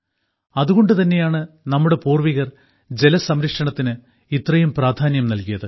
അതുകൊണ്ടു തന്നെയാണ് നമ്മുടെ പൂർവ്വികർ ജലസംരക്ഷണത്തിന് ഇത്രയും പ്രാധാന്യം നൽകിയത്